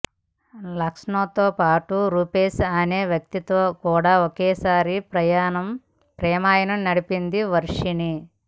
లక్ష్మణ్తో పాటు రూపేశ్ అనే వ్యక్తితో కూడా ఒకేసారి ప్రేమాయణం నడిపింది వర్షిణి